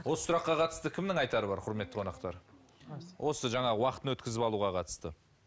осы сұраққа қатысты кімнің айтары бар құрметті қонақтар осы жаңағы уақытын өткізіп алуға қатысты